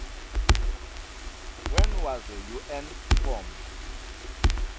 when was the un formed